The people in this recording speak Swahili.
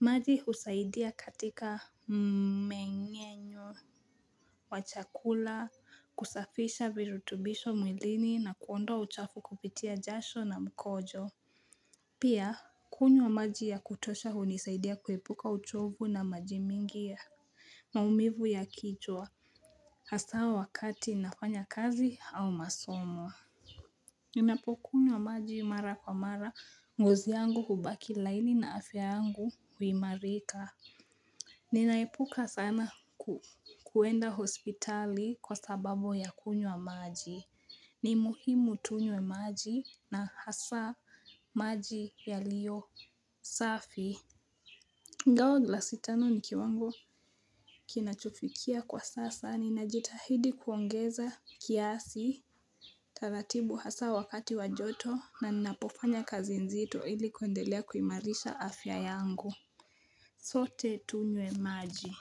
Maji husaidia katika mmenyenyo wa chakula kusafisha virutubisho mwilini na kuondoa uchafu kupitia jasho na mkojo. Pia, kunywa maji ya kutosha hunisaidia kuepuka uchovu na majibmingi ya maumivu ya kichwa. Hasa wakati nafanya kazi au masomo. Ninapokunywa maji mara kwa mara ngozi yangu hubaki laini na afya yangu huimarika. Ninaepuka sana kuenda hospitali kwa sababu ya kunywa maji. Ni muhimu tunywe maji na hasa maji yaliyo safi ingawa glasi tano ni kiwango kinachofikia kwa sasa. Ninajitahidi kuongeza kiasi. Taratibu hasa wakati wa joto na ninapofanya kazi nzito ili kuendelea kuimarisha afya yangu. Sote tunye maji.